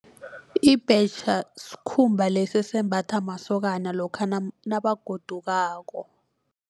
Ibhetjha sikhumba lesa esembatha masokana lokha nabagodukako.